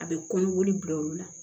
A bɛ kɔnɔboli bila olu la